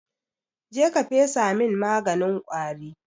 Je ka fesa min maganin ƙwari!